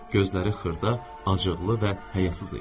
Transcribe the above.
Gözləri xırda, acıqlı və həyasız idi.